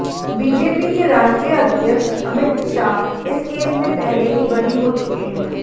BJP के राष्ट्रीय अध्यक्ष अमित शाह इस केस में पहले ही बरी हो चुके हैं